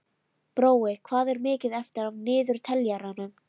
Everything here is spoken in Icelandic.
Brói, hvað er mikið eftir af niðurteljaranum?